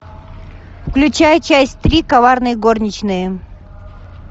включай часть три коварные горничные